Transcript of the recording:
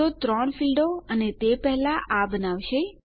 તો ત્રણ ફીલ્ડો અને તે પહેલા આ બનાવશે